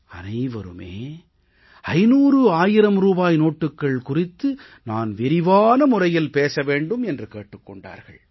அனைவருமே 500 1000 ரூபாய் நோட்டுக்கள் குறித்து நான் விரிவான முறையில் பேச வேண்டும் என்று கேட்டுக் கொண்டார்கள்